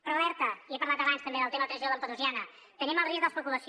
però alerta ja he parlat abans també del tema transició lampedusiana tenim el risc de l’especulació